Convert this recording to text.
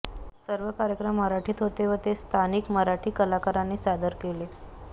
सर्व कार्यक्रम मराठीत होते व ते स्थानिक मराठी कलाकारांनी सादर केले